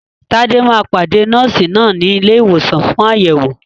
Tade máa pàdé Nọ́ọ̀sì náà ní ilé ìwòsàn fún àyẹ̀wò.